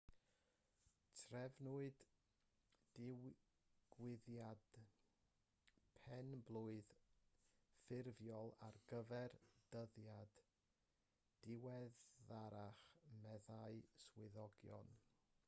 trefnwyd digwyddiad pen-blwydd ffurfiol ar gyfer dyddiad diweddarach meddai swyddogion